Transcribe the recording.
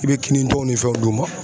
I bɛ kinintɔw ni fɛnw d'u ma.